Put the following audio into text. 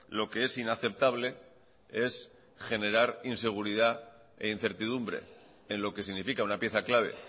lo que es inaceptable es generar inseguridad e incertidumbre en lo que significa una pieza clave